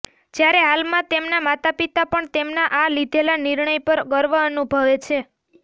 જયારે હાલમાં તેમના માતાપિતા પણ તેમના આ લીધેલા નિર્ણય પર ગર્વ અનુભવે છે